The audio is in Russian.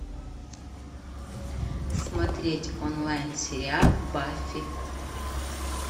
смотреть онлайн сериал баффи